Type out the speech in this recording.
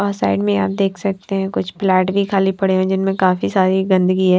वह साइड में आप देख सकते हैं कुछ फ्लैट भी खाली पड़े हैं जिनमें काफी सारी गंदगी है।